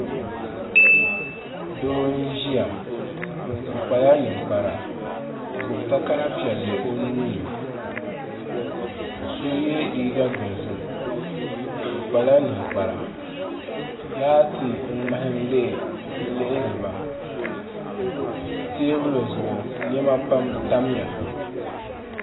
Doo n ʒiya o kpala ninkpara o gbubi takara piɛlli o nuuni so yɛ liiga dozim o kpala ninkpara laati n ŋmaham lihiriba teebuli zuɣu niɛma pam tamya